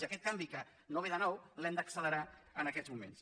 i aquest canvi que no ve de nou l’hem d’accelerar en aquests moments